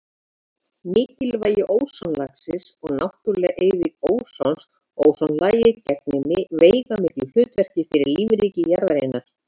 Mikilvægi ósonlagsins og náttúruleg eyðing ósons Ósonlagið gegnir veigamiklu hlutverki fyrir lífríki jarðarinnar.